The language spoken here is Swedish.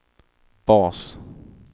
bas